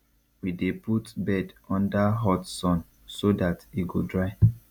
we dey put bed under hot sun so dat e go dry